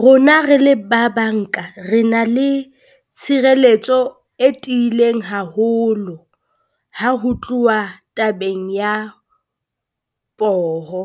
Rona re le ba banka, re na le tshireletso e tiileng haholo ha ho tluwa tabeng ya poho.